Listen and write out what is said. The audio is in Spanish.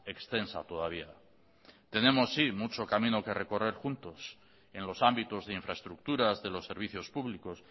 extensa todavía tenemos mucho camino que recorrer juntos en los ámbitos de infraestructuras de los servicios públicos